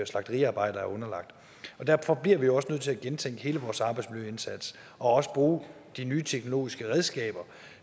slagteriarbejdere er underlagt derfor bliver vi også nødt til at gentænke hele vores arbejdsmiljøindsats og også bruge de nye teknologiske redskaber